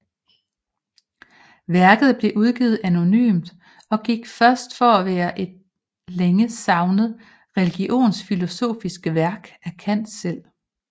Værket blev udgivet anonymt og gik først for at være et længe savnet religionsfilosofisk værk af Kant selv